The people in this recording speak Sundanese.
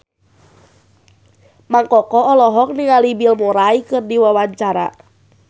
Mang Koko olohok ningali Bill Murray keur diwawancara